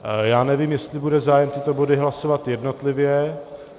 Já nevím, jestli bude zájem tyto body hlasovat jednotlivě.